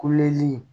Kuleli